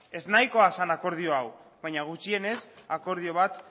ez nahikoa zen akordio hau baina gutxienez akordio bat